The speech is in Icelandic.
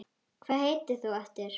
Hvað heitir þú aftur?